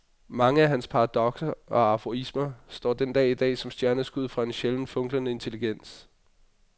Mange af hans paradokser og aforismer står den dag i dag som stjerneskud fra en sjældent funklende intelligens.